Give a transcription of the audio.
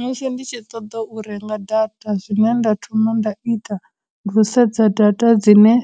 Musi ndi tshi ṱoḓa u renga data, zwine nda thoma nda ita ndi thusedza data dzine